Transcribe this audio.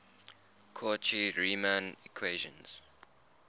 cauchy riemann equations